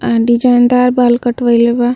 And डिज़ाइनदार बाल कटवईले बा।